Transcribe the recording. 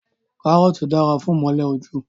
Karoti dara fun imole oju